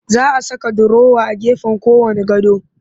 Za a saka durowa a gefen kowanne gado